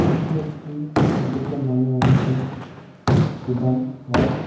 এটি একটি দেখে মনে হচ্ছে গুদামঘর.